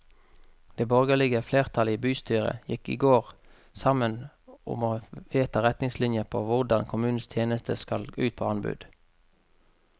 Det borgerlige flertallet i bystyret gikk i går sammen om å vedta retningslinjer for hvordan kommunens tjenester skal ut på anbud.